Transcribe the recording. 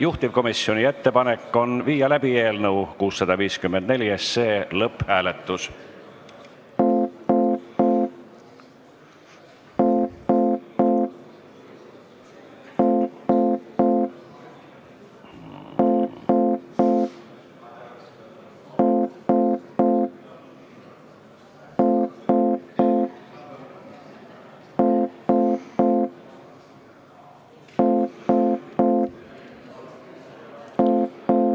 Juhtivkomisjoni ettepanek on viia läbi eelnõu 654 lõpphääletus.